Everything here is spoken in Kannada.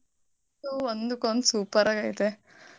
ಅದು ಒಂದ್ಕೊಂದ್ super ಆಗೈತೆ.